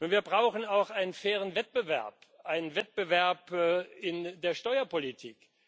Wir brauchen auch einen fairen Wettbewerb, einen Wettbewerb in der Steuerpolitik.